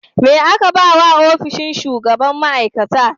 Me aka ba wa ofishin shugaban ma; aikata?